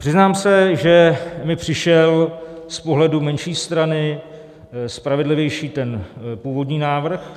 Přiznám se, že mi přišel z pohledu menší strany spravedlivější ten původní návrh.